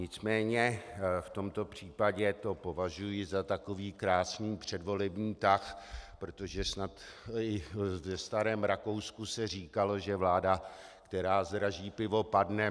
Nicméně v tomto případě to považuji za takový krásný předvolební tah, protože snad už ve starém Rakousku se říkalo, že vláda, která zdraží pivo, padne.